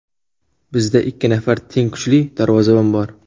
Bizda ikki nafar teng kuchli darvozabon bor.